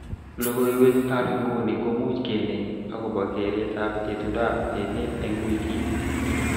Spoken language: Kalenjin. Logoiwekab nguni komuch keneim akobo keretab itondoab emet eng wikit